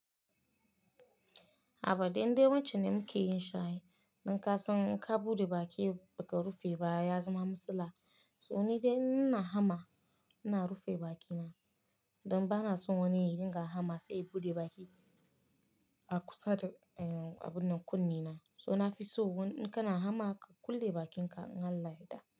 A'a ba dan dai wancan ne muke yin shayi, ninkasan in ka buɗe baki ba ka rufe baya ya zama matsalla. So ni dai ina hama ina rufe bakina don ba na son wani ya dinga hama sai ya buɗe baki a kusa da, eh abun nan kunne na. So na fi so wanda kana hama ka kulle bakinka in Allah ya da.